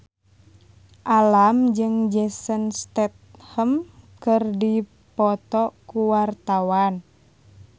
Alam jeung Jason Statham keur dipoto ku wartawan